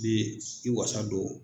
bi i wasa don